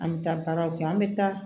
An bɛ taa baaraw kɛ an bɛ taa